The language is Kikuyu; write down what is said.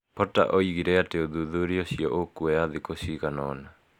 Potter oigire atĩ ũthuthuria ũcio ũkuoya thĩkũ cigana ũna.